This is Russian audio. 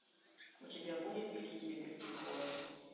у тебя будет великий детектив холмс